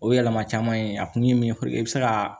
O yɛlɛma caman ye a kun ye min ye fɔlɔ i bi se ka